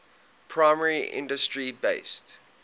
primary industry based